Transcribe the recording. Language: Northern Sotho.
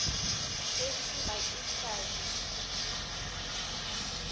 tšešo ga ke sa di